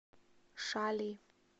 шали